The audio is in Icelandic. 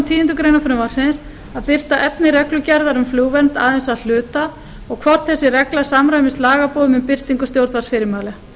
tíundu greinar frumvarpsins að birta efni reglugerðar um flugvernd aðeins að hluta og hvort þessi regla samræmist lagaboðum um birtingu stjórnvaldsfyrirmæla